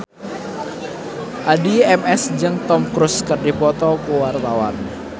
Addie MS jeung Tom Cruise keur dipoto ku wartawan